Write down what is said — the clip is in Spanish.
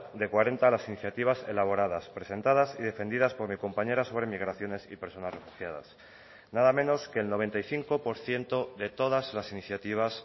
de cuarenta las iniciativas elaboradas presentadas y defendidas por mi compañera sobre migraciones y personas refugiadas nada menos que el noventa y cinco por ciento de todas las iniciativas